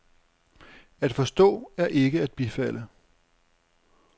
At forstå er ikke at bifalde.